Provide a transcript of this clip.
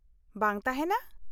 - ᱵᱟᱝ ᱛᱟᱦᱮᱱᱟ ?